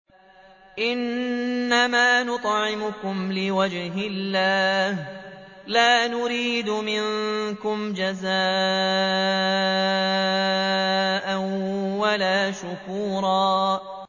إِنَّمَا نُطْعِمُكُمْ لِوَجْهِ اللَّهِ لَا نُرِيدُ مِنكُمْ جَزَاءً وَلَا شُكُورًا